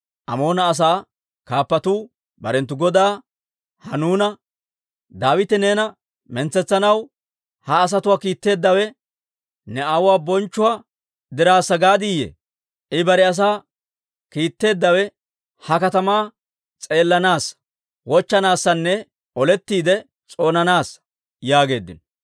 Amoona asaa kaappatuu barenttu godaa Hanuuna, «Daawite neena mintsetsanaw ha asatuwaa kiitteeddawe ne aawuwaa bonchchuwaa dirassaa gaaddiyye? I bare asaa kiitteeddawe ha katamaa s'eellanaassa, wochchanaassanne olettiide s'oonanaassa» yaageeddino.